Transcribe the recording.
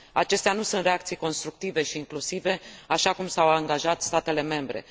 Acestea nu sunt reacții constructive și inclusive, așa cum s au angajat statele membre.